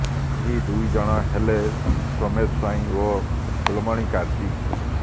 ଏହି ଦୁଇ ଜଣ ହେଲେ ସୋମେଶ ସ୍ୱାଇଁ ଓ ଫୁଲମଣୀ କାର୍ଜି